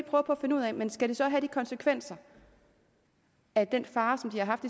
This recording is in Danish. finde ud af men skal det så have de konsekvenser at den far som de har haft